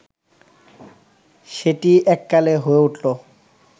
সেটিই এককালে হয়ে উঠল